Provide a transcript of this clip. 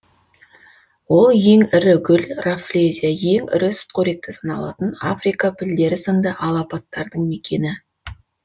ол ең ірі гүл раффлезия ең ірі сүтқоректі саналатын африка пілдері сынды алапаттардың мекені